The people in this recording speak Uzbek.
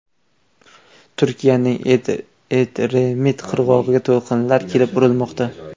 Turkiyaning Edremit qirg‘og‘iga to‘lqinlar kelib urilmoqda.